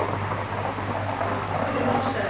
Allt fyrir málstaðinn